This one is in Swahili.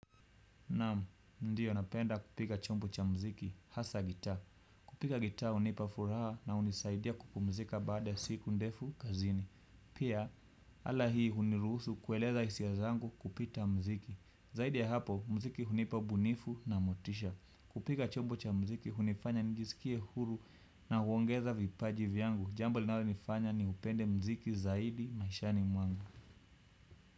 Naam, ndio napenda kupiga chombo cha muziki, hasa gitaa. Kupiga gitaa hunipa furaha na hunisaidia kupumzika baada ya siku ndefu kazini. Pia, ala hii hunirusu kueleza hisia zangu kupita muziki. Zaidi ya hapo muziki hunipa ubunifu na motisha kupiga chombo cha muziki, hunifanya njisikie huru na huongeza vipaji vyangu. Jambo linalo nifanya ni upende muziki zaidi maishani mwangu.